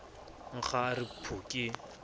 nkga a re phu ke